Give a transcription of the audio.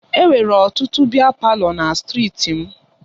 Enwere ọtụtụ biya palọ na strịti m.